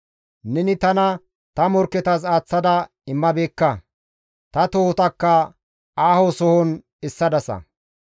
Neni tana ta morkketas aaththa aaththa immabeekka; ta tohotakka aaho sohon essadasa.